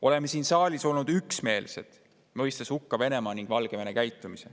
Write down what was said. Oleme siin saalis olnud üksmeelsed, mõistes hukka Venemaa ja Valgevene käitumise.